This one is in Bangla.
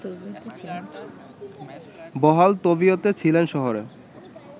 বহাল তবিয়তে ছিলেন শহরে